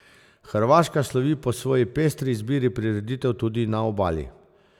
Hrvaška slovi po svoji pestri izbiri prireditev tudi na obali.